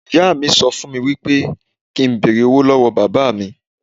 Ìyá mi sọ fún mi wípé kín n bẹ̀rẹ̀ owó lọ́wọ́ Bàbà mi.